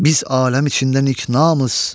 Biz aləm içində niknamus,